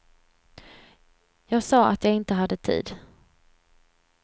Jag sa att jag inte hade tid.